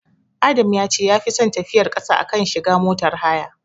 Adam ya ce yafi son tafiyar ƙasa a kan shiga motar haya.